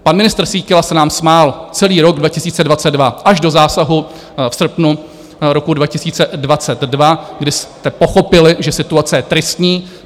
Pan ministr Síkela se nám smál celý rok 2022 až do zásahu v srpnu roku 2022, kdy jste pochopili, že situace je tristní.